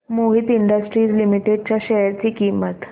Mohit industries limited च्या share ची किंमत